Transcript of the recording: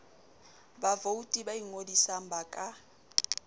bavouti ba ingodisang ba ka